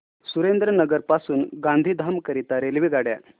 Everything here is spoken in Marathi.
सुरेंद्रनगर पासून गांधीधाम करीता रेल्वेगाड्या